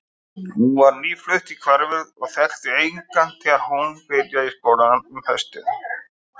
Hún var nýflutt í hverfið og þekkti engan þegar hún byrjaði í skólanum um haustið.